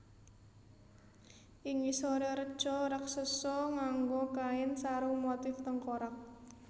Ing ngisoré reca raseksa nganggo kain sarung motif tengkorak